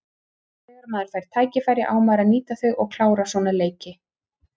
Þegar maður fær tækifæri á maður að nýta þau og klára svona leiki.